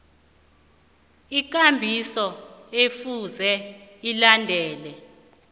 ikambiso ekufuze ilandelwe